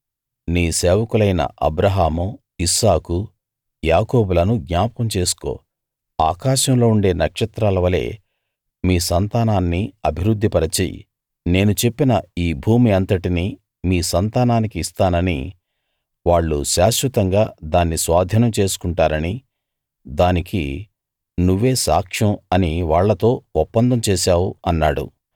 నీ సేవకులైన Abraham Isaac యాకోబులను జ్ఞాపకం చేసుకో ఆకాశంలో ఉండే నక్షత్రాలవలే మీ సంతానాన్ని అభివృద్ధి పరచి నేను చెప్పిన ఈ భూమి అంతటినీ మీ సంతానానికి ఇస్తాననీ వాళ్ళు శాశ్వతంగా దాన్ని స్వాధీనం చేసుకుంటారనీ దానికి నువ్వే సాక్ష్యం అనీ వాళ్ళతో ఒప్పందం చేశావు అన్నాడు